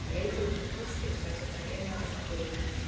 Hann leit til mín og brosti, sagðist ætla að geyma þetta bak við eyrað.